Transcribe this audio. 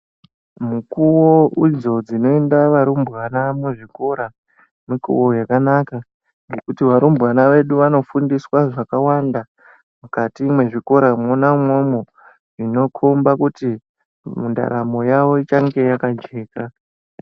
Mikuwo idzo dzinoenda varumbwana muzvikora mikuwo yakanaka ngekuti varumbwana vedu vanofundiswa zvakawanda mukati mwezvikora mwona umwomwo zvinokhomba kuti mundaramo yawo ichange yakajeka.